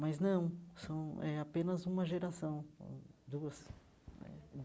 Mas não, são eh apenas uma geração, hum duas.